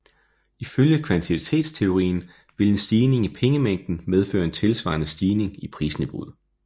Ifølge kvantitetsteorien vil en stigning i pengemængden medføre en tilsvarende stigning i prisniveauet